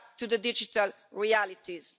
Wake up to the digital realities.